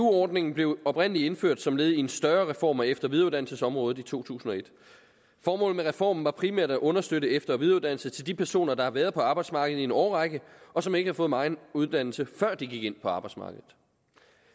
ordningen blev oprindelig indført som led i en større reform af efter og videreuddannelsesområdet i to tusind og et formålet med reformen var primært at understøtte efter og videreuddannelse til de personer der har været på arbejdsmarkedet i en årrække og som ikke har fået megen uddannelse før de gik ind på arbejdsmarkedet